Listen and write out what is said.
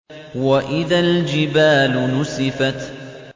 وَإِذَا الْجِبَالُ نُسِفَتْ